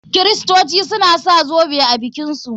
Kiristoci suna sa zoɓe a bikin su.